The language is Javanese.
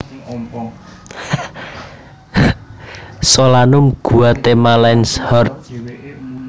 Solanum guatemalense Hort